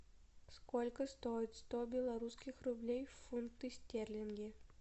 сколько стоит сто белорусских рублей в фунты стерлинги